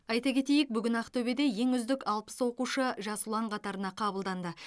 айта кетейік бүгін ақтөбеде ең үздік алпыс оқушы жас ұлан қатарына қабылданды